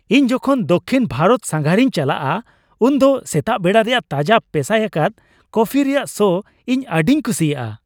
ᱤᱧ ᱡᱚᱠᱷᱚᱱ ᱫᱚᱠᱠᱷᱤᱱ ᱵᱷᱟᱨᱚᱛ ᱥᱟᱸᱜᱷᱟᱨᱤᱧ ᱪᱟᱞᱟᱜᱼᱟ ᱩᱱᱫᱚ ᱥᱮᱛᱟᱜ ᱵᱮᱲᱟ ᱨᱮᱭᱟᱜ ᱛᱟᱡᱟ ᱯᱮᱥᱟᱭ ᱟᱠᱟᱫ ᱠᱚᱯᱷᱤ ᱨᱮᱭᱟᱜ ᱥᱚ ᱤᱧ ᱟᱹᱰᱤᱧ ᱠᱩᱥᱤᱭᱟᱜᱼᱟ ᱾